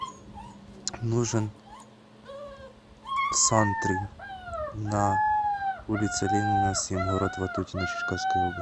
нужен сантри на улице ленина семь город ватутино черкасской области